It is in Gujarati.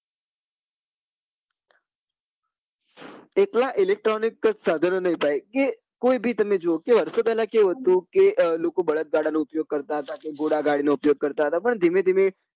એકલા electronic જ સાધનો નહિ ભાઈ જે કોઈ બી તમે કે વર્ષો પેલા કેવું હતું કે લોકો બળદ ગાડા નો ઉપયોગ કરતા હતા કે ઘોડા ગાડી નો ઉપયોગ કરતા હતા પણ ધીમે ધીમે